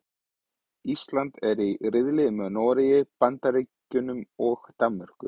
Ísland er í riðli með Noregi, Bandaríkjunum og Danmörku.